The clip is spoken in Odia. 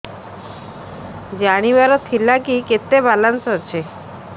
ଜାଣିବାର ଥିଲା କି କେତେ ବାଲାନ୍ସ ଅଛି